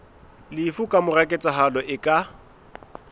lefu kamora ketsahalo e ka